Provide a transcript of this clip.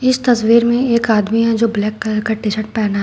इस तस्वीर में एक आदमी है जो ब्लैक कलर का टी शर्ट पहना।